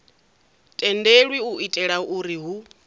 tendelwi u itela uri hu